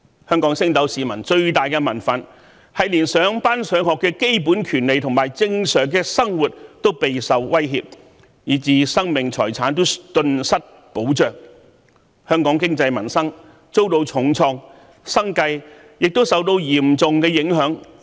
香港升斗市民的最大民憤，是連上班、上學的基本權利和正常生活都備受威脅，以致生命財產頓失保障，香港經濟民生遭到重創，生計亦受到嚴重影響。